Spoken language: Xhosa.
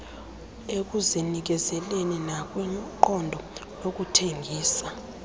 ekuzinikezeleni nakwiqondo lokuthembisa